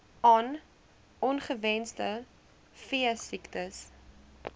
on ongewenste veesiektes